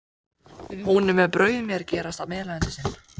Hún bauð mér að gerast meðleigjandi sinn.